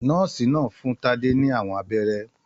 Nọ́ọ́sì náà fún Tade ní àwọn abẹ́rẹ́.